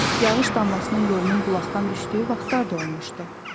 Yağış damlasının yolunun bulaqdan düşdüyü vaxtlar da olmuşdu.